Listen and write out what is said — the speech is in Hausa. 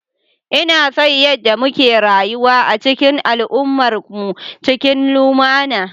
Ina son yadda muke rayuwa a cikin al'ummarmu cikin lumana.